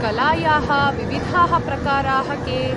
कलायाः विविधाः प्रकाराः के?